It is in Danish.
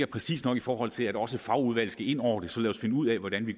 præcist nok i forhold til at også fagudvalget skal ind over det så lad os finde ud af hvordan vi